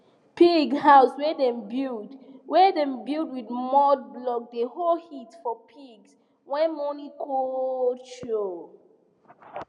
pig house wey dem build wey dem build with mud blocks dey hold heat for pigs when morning cold show